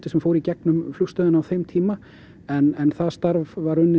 sem fór í gegnum flugstöðina á þeim tíma en það starf var unnið